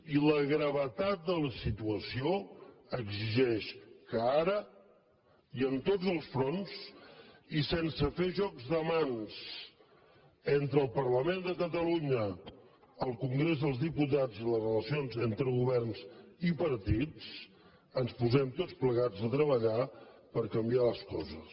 i la gravetat de la situació exigeix que ara i en tots els fronts i sense fer jocs de mans entre el parlament de catalunya el congrés dels diputats i les relacions entre governs i partits ens posem tots plegats a treballar per canviar les coses